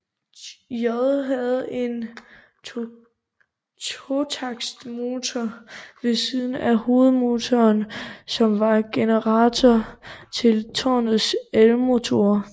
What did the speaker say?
J havde en totaktsmotor ved siden af hovedmotoren som var generator til tårnets elmotor